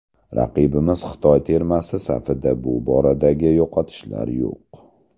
Raqibimiz Xitoy termasi safida bu boradagi yo‘qotishlar yo‘q.